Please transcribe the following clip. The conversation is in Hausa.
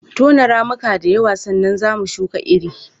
Tona ramuka da yawa sannan za mu shuka iri.